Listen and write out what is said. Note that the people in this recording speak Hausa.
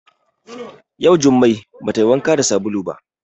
Yau jumai ba tayi wanka da sabulu ba